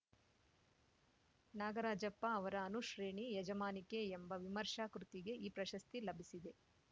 ನಾಗರಾಜಪ್ಪ ಅವರ ಅನುಶ್ರೇಣಿ ಯಜಮಾನಿಕೆ ಎಂಬ ವಿಮರ್ಶಾ ಕೃತಿಗೆ ಈ ಪ್ರಶಸ್ತಿ ಲಭಿಸಿದೆ